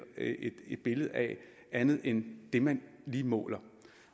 billede af andet end det man lige måler